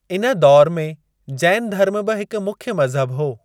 इन दौरु में जैन धर्म बि हिक मुख्य मज़हबु हो।